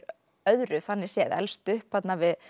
öðru þannig séð elst upp þarna við